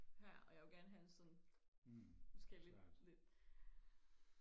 her og jeg vil gerne have sådan måske lidt lidt